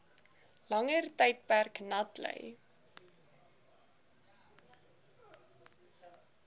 langer tydperk natlei